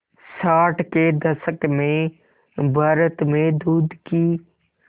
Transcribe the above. साठ के दशक में भारत में दूध की